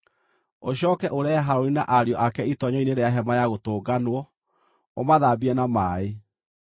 Ũcooke ũrehe Harũni na ariũ ake itoonyero-inĩ rĩa Hema-ya-Gũtũnganwo, ũmathambie na maaĩ.